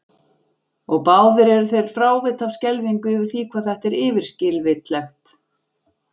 Og báðir eru þeir frávita af skelfingu yfir því hvað þetta er yfirskilvitlegt.